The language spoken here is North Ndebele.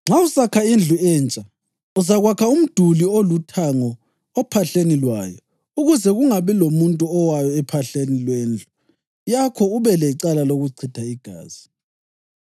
Nxa usakha indlu entsha, uzakwakha umduli oluthango ophahleni lwayo ukuze kungabi lomuntu owayo ophahleni lwendlu yakho ube lecala lokuchitha igazi.